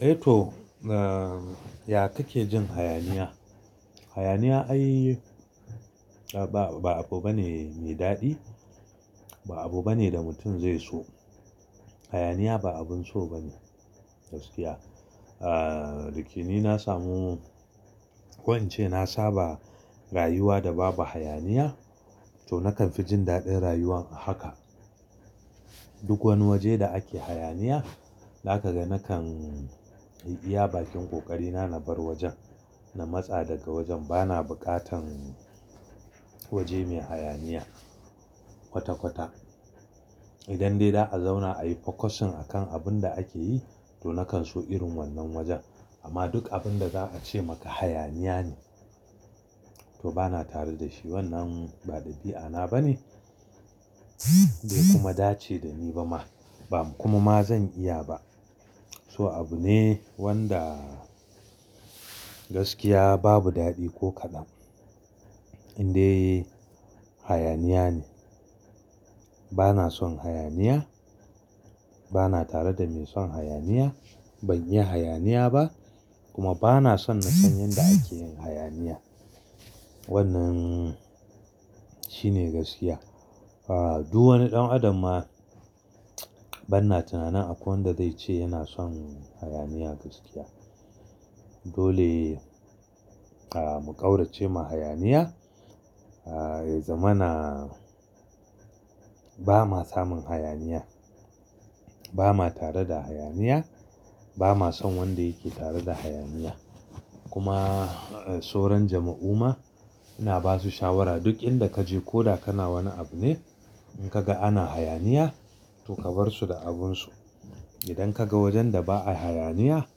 Eh to, ya kake jin hayaniya? Hayaniya ai ba abu bane mai daɗi, ba abu bane da mutum zai so. Hayaniya ba abun so bane gaskiya. Ahhh, dake ni na samu ko in ce na saba rayuwa da babu hayaniya to nakan fi jin daɗin rayuwan a haka. Duk wani waje da ake hayaniya, zaka ga nakan iya bakin ƙoƙari na na bar wajen. Na matsa daga wajen bana buƙatan waje mai hayaniya kwata-kwata. Idan dai za a zauna ayi fokasin akan abun da ake yi, to nakan so irin wannan wajen. Amma duk abun da za a ce maka hayaniya ne, to bana tare da shi. Wannan ba ɗabi'a na bane bai kuma dace da ni ba ma, ba kuma ma zan iya ba. So abu ne wanda gaskiya babu daɗi ko kaɗan. Indai hayaniya ne. Bana son hayaniya. Bana tare da mai son hayaniya. Ban iya hayaniya ba, kuma bana son na san yadda ake yin hayaniya. Wannnan shine gaskiya. Ahhh, duk wani ɗan adam ma banna tunanin akwai wanda zai ce yana son hayaniya gaskiya. Dole mu ƙaurace ma hayaniya. Ahhh, ya zamana ba ma samun hayaniya. Ba ma tare da hayaniya. Ba ma son wanda yake tare da hayaniya. Kuma soran jama'u ma, ina basu shawara duk inda kaje ko da kana wani abu ne in ka ga ana hayaniya to ka bar su da abin su. Idan ka ga wajen da ba'a hayaniya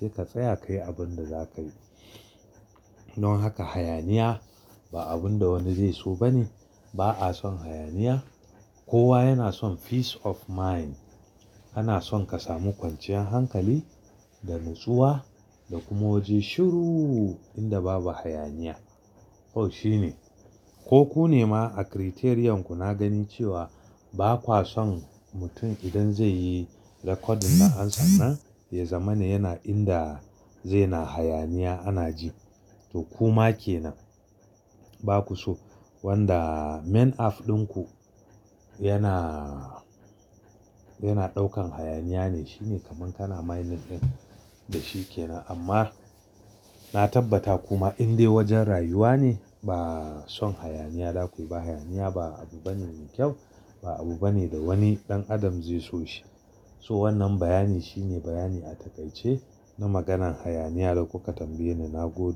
sai ka tsaya ka yi abun da za ka yi. Don haka hayaniya ba abun da wani zai so ba ne. Ba a son hayaniya. Kowa yana son peace of mind. Ana son ka samu kwanciyar hankali da natsuwa da kuma waje shiru inda babu hayaniya. To shine. Ko ku ne ma a criterion ku na gani cewa ba kuwa son mutum idan zai yi recording da ansan na, ya zamani yana inda zai na hayaniya ana ji. To ku ma ke nan. Ba ku so wanda main af ɗinku yana, yana ɗaukan hayaniya ne. Shine kaman kana mining din da shi ke nan. Amma na tabbata kuma indai wajen rayuwa ne ba son hayaniya. Dakwai ba hayaniya ba abu bane mai kyau ba abu bane da wani ɗan adam zai so shi. So wannan bayani shine bayani a takaice na maganan hayaniya da kuka tambaye ni na gode.